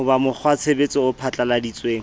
ho ba mokgwatshebetso o phatlalladitsweng